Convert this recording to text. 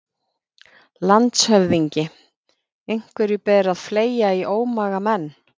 LANDSHÖFÐINGI: Einhverju ber að fleygja í ómagamenn.